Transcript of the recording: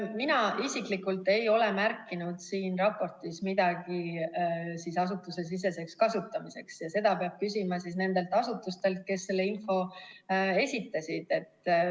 Mina isiklikult ei ole märkinud siin raportis midagi asutusesiseseks kasutamiseks, ja seda peab küsima nendelt asutustelt, kes selle info esitasid.